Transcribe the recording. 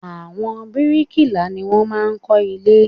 Àwọn brikila ní wọ́n máa ń kó ilé